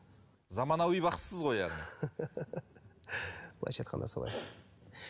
заманауи бақсысыз ғой яғни былайша айтқанда солай